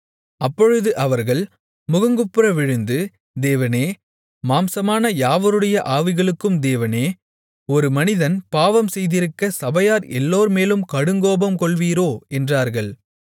அப்பொழுது அவர்கள் முகங்குப்புற விழுந்து தேவனே மாம்சமான யாவருடைய ஆவிகளுக்கும் தேவனே ஒரு மனிதன் பாவம் செய்திருக்கச் சபையார் எல்லார்மேலும் கடுங்கோபம்கொள்வீரோ என்றார்கள்